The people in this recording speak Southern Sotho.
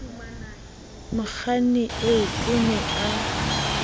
mokganni eo o ne a